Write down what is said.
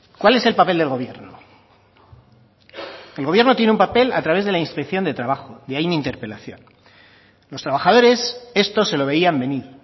cuál es el papel del gobierno el gobierno tiene un papel a través de la inspección de trabajo y hay mi interpelación los trabajadores esto se lo veían venir